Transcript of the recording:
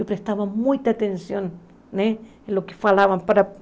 Eu prestava muita atenção né no que falavam para